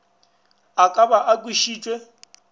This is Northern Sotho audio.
a ka ba a kwešitšwe